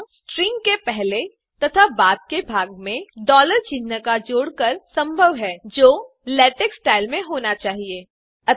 यह स्ट्रिंग के पहले तथा बाद के भाग में डॉलर चिन्ह जोड़ कर संभव है जो लेटेक्स स्टाइल में होना चाहिए